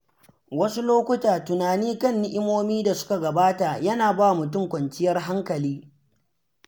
Wasu lokuta, tunani kan ni'imomin dasuka gabata yana ba mutum kwanciyar hankali.